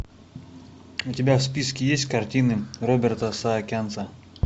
у тебя в списке есть картины роберта саакянца